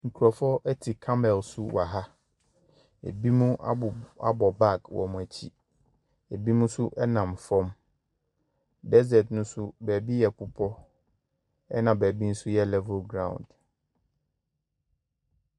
Nkurɔfoɔ te camel so wɔ ha, binom abɔ abɔ bag wɔ wɔn akyi, binom nso nam fam, desert ne so beebi yɛ bepɔ na beebi nso yɛ level ground.